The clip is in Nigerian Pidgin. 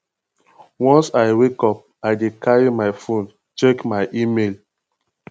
once i wake up i dey carry my fone check my email